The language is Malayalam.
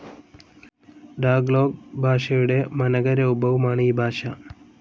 ടാഗ്ലോഗ് ഭാഷയുടെ മനകരൂപവുമാണ് ഈ ഭാഷ.